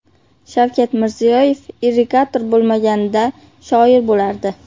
Shavkat Mirziyoyev irrigator bo‘lmaganida, shoir bo‘lardi .